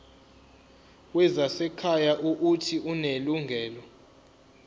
wezasekhaya uuthi unelungelo